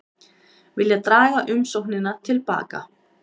Vilja draga umsóknina til baka